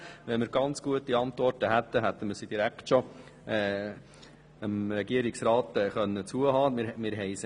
Wenn wir ganz gute Antworten hätten, hätten wir sie dem Regierungsrat direkt zukommen lassen können;